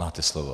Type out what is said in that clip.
Máte slovo.